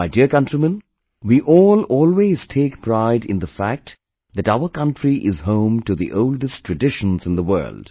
My dear countrymen, we all always take pride in the fact that our country is home to the oldest traditions in the world